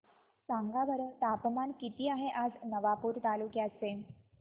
सांगा बरं तापमान किता आहे आज नवापूर तालुक्याचे